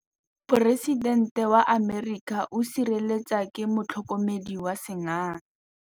Poresitêntê wa Amerika o sireletswa ke motlhokomedi wa sengaga.